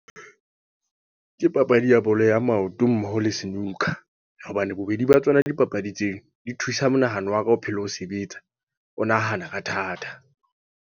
Ke papadi ya bolo ya maoto, mmoho le snooker. Hobane bobedi ba tsona dipapadi tseo, di thusa monahano wa ka o phele o sebetsa. O nahana ka thata.